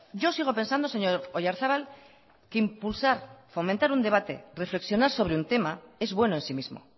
yo sigo pensando señor oyarzabal que impulsar fomentar un debate reflexionar sobre un tema es bueno en sí mismo